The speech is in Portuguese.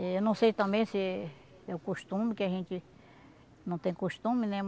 Eu não sei também se é o costume, que a gente não tem costume, né?